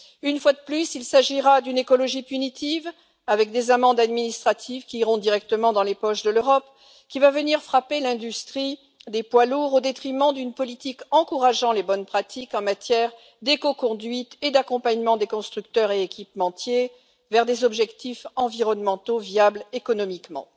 Une fois de plus, il s'agira d'une écologie punitive, avec des amendes administratives qui iront directement dans les poches de l'Europe, qui va venir frapper l'industrie des poids lourds au détriment d'une politique encourageant les bonnes pratiques en matière d'écoconduite et d'accompagnement des constructeurs et équipementiers vers des objectifs environnementaux viables économiquement.